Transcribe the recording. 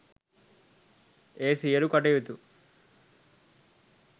ඒ සියලූ කටයුතු